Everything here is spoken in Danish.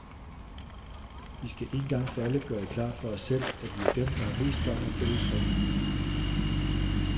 Vi skal en gang for alle gøre det klart for os selv, at vi er dem der har mest gavn af fælles reglen.